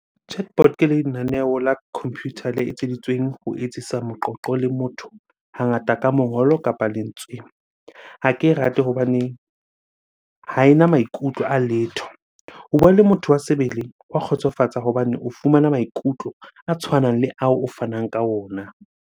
Chatbot ke lenaneo la computer le etseditsweng ho etsisa moqoqo le motho, hangata ka mongolo kapa lentswe. Ha ke e rate hobane ha ena maikutlo a letho. Ho bua le motho wa sebele hwa kgotsofatsa hobane o fumana maikutlo a tshwanang le ao o fanang ka ona.